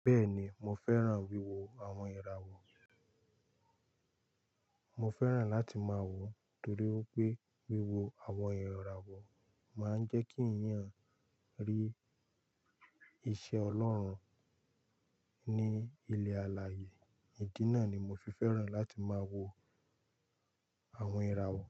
Bẹ́ẹ̀ni, mo fẹ́ràn wíwo àwọn ìràwọ̀. Mo fẹ́ràn láti máa wò torí wípé wíwo àwọn ìràwọ̀ máa ń jẹ́ kí èèyàn rí iṣẹ́ Ọlọ́run ní ilẹ̀ alààyè. Ìdí náà ni mo fi fẹ́ràn láti máa wo àwọn ìràwọ̀.